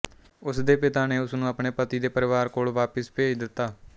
ਉਸਦੇ ਪਿਤਾ ਨੇ ਉਸਨੂੰ ਆਪਣੇ ਪਤੀ ਦੇ ਪਰਿਵਾਰ ਕੋਲ ਵਾਪਿਸ ਭੇਜ ਦਿੱਤਾ